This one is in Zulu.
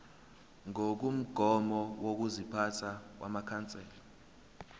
ngokomgomo wokuziphatha wamakhansela